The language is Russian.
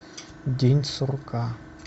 день сурка